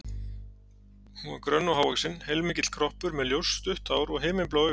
Hún var grönn og hávaxin, heilmikill kroppur, með ljóst, stutt hár og himinblá augu.